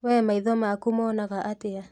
We maitho maku monaga atĩa?